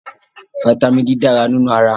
Fataímìn D dára nínú ara.